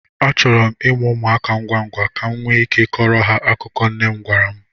Achọrọ m ịmụ ụmụaka ngwa ngwa, ka m nwee ike ịkọrọ ha akụkọ nne m gwara m.